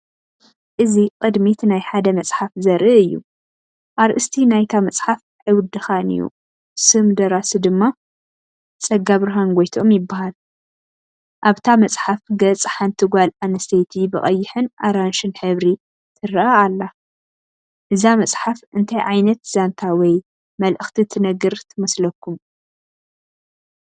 እዚ ቕድሚት ናይ ሓደ መጽሓፍ ዘርኢ እዩ። ኣርእስቲ ናይታ መጽሓፍ "ኣይውድኻን'ዩ"፡ ስም ደራሲ ድማ "ጸጋብርሃን ጎይትኦም" ይበሃል። ኣብታ መጽሓፍ ገጽ ሓንቲ ጓል ኣንስተይቲ ብቐይሕን ኣራንሺን ሕብሪ ትረአ ኣላ። እዛ መጽሓፍ እንታይ ዓይነት ዛንታ ወይ መልእኽቲ ትነግር ትመስለኩም?